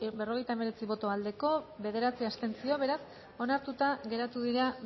berrogeita hemeretzi boto aldekoa bederatzi abstentzio beraz onartuta geratu dira